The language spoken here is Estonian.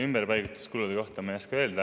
Ümberpaigutuskulude kohta ma ei oska öelda.